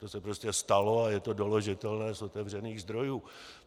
To se prostě stalo a je to doložitelné z otevřených zdrojů.